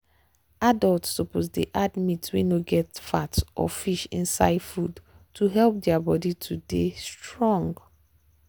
adults suppose dey add meat wey no get fat or fish inside food to help their body to dey strong.